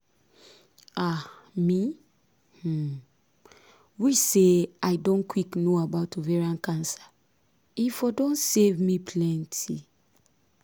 ah me um wish say i don quick know about ovarian cancer e for don save me plenty